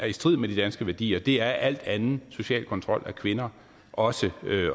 i strid med de danske værdier det er al anden social kontrol af kvinder også